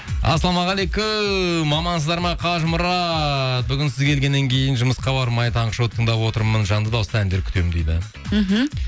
ассалаумағалейкум амансыздар ма қажымұрат бүгін сіз келгеннен кейін жұмысқа бармай таңғы шоуды тыңдап отырмын жанды дауыста әндер күтемін дейді мхм